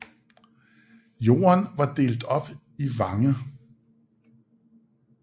Jorden var delt op i vange